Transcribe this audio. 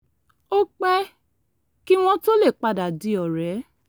ó pẹ́ kí wọ́n tó lè padà di ọ̀rẹ́